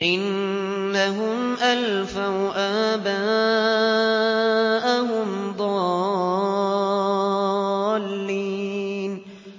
إِنَّهُمْ أَلْفَوْا آبَاءَهُمْ ضَالِّينَ